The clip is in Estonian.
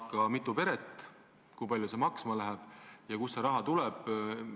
Kui mitu peret, kui palju see maksma läheb ja kust see raha tuleb?